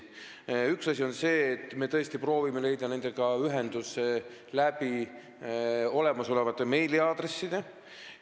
Üks asi on see, et me tõesti proovime saada nendega ühendust olemasolevate meiliaadresside kaudu.